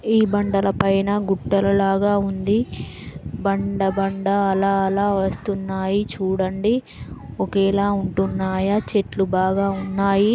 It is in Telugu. ఈ బండలు పైన గుట్టల లాగా ఉంది బండ_బండ ల_ల వస్తున్నాయి చూడండి ఒకేలా ఉంటున్నాయ చెట్టులు బాగా ఉన్నాయి.